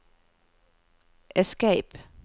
escape